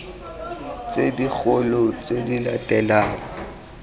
tse dikgolo tse di latelang